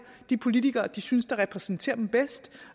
de politikere de synes repræsenterer dem bedst